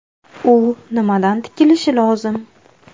U nimadan tikilishi lozim?